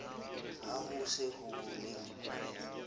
ha ho se ho le